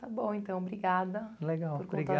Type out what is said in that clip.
está bom, então, obrigada, por contar... Legal,